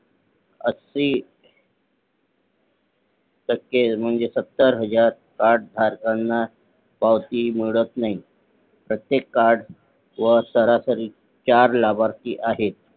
ऐंशी टक्के म्हणजे सत्तर हजार कार्ड धारकांना पावती मिळत नाही प्रत्येक कार्ड वर सरासरी चार लाभार्थी आहे